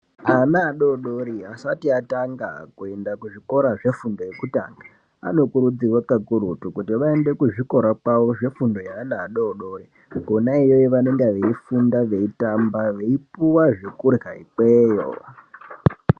Ana adodori asati atanga kuenda kuzvikora zvefundo yekutanga anokurudzirwa kakurutu kuti vaende kuzvikora zvavo zvefundo yeana adodori kwona iyoyo vanenge veifunda veitamba veipuwa zvekurya ikweyo.